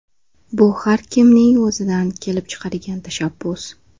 Bu har kimning o‘zidan kelib chiqadigan tashabbus.